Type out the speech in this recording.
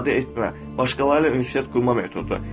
İfadə etmə, başqaları ilə ünsiyyət qurma metodu.